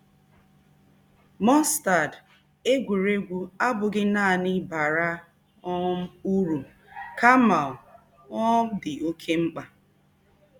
um Mọstad, egwuregwu abụghị nanị bara um uru kama ọ um dị oké mkpa.